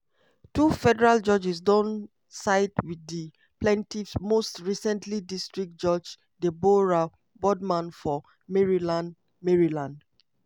two federal judges don side wit di plaintiffs most recently district judge deborah boardman for maryland. maryland.